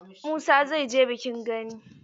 Musa zai je bikin gani.